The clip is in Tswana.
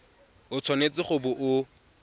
o tshwanetse go bo o